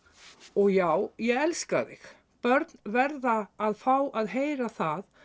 og já ég elska þig börn verða að fá að heyra það